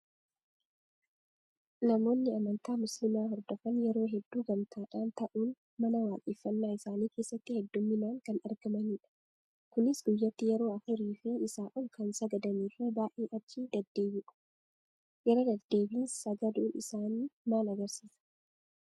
Namooni amantaa musliimaa hordofan yeroo hedduu gamtaadhaan ta'uun mana waaqeffannaa isaanii keessatti hedduminaan kan argamanidha. Isaanis guyyaatti yeroo afurii fi isaa ol kan sagadanii fi baay'ee achi deddeebi'u. Irra deddeebiin sagaduun isaanii maal agarsiisa?